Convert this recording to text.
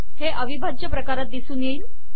हे अविभाज्य प्रकारात दिसून येईल